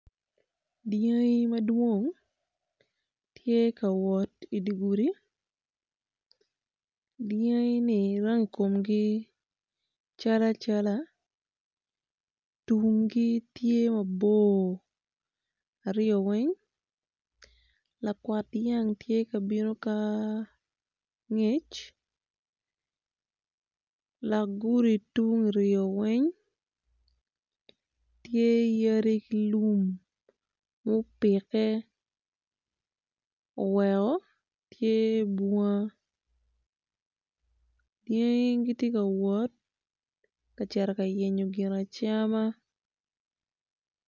Dyangi madwong ma giti kawot i di gudi dyangi-ni rangi komgi cal acala tumgi tye mabor aryo weny lakwat dyang tye kabino ka angec lak gudi tung uryo weny tye yadi ki lum mu pike wuweko tye bunga dyangi giti kawot ka cito ka yenyo gin acama